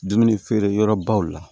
Dumuni feere yɔrɔbaw la